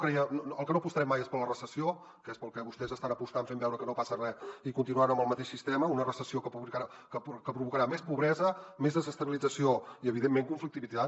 pel que no apostarem mai és per la recessió que és pel que vostès estan apostant fent veure que no passa res i continuant amb el mateix sistema una recessió que provocarà més pobresa més desestabilització i evidentment conflictivitat